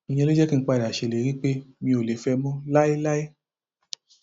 ìyẹn ló jẹ kí n padà ṣèlérí pé mi ò lè fẹ ẹ mọ láéláé